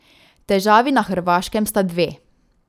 Težavi na hrvaškem sta dve.